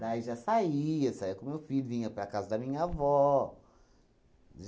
já saía, saía com o meu filho, vinha para a casa da minha avó.